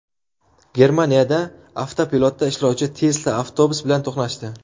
Germaniyada avtopilotda ishlovchi Tesla avtobus bilan to‘qnashdi.